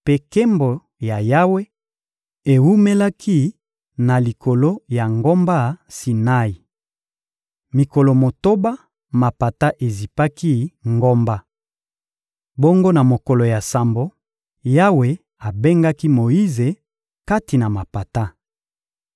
mpe nkembo ya Yawe ewumelaki na likolo ya ngomba Sinai. Mikolo motoba, mapata ezipaki ngomba. Bongo na mokolo ya sambo, Yawe abengaki Moyize kati na mapata.